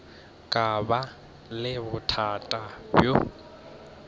ka ba le bothata bjo